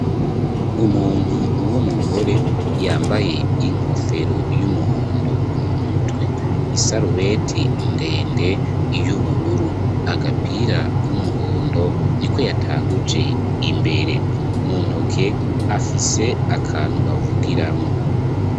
Umuntu uwo umugore yambaye inkofero y'umuhondo mu mutwe isarubeti ndende y'ubururu agapira k'umuhondo ni ko yatanguje imbere muntoke afise akantu bavugiramwo.